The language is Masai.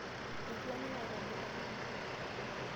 Etu aning' aitobiraki.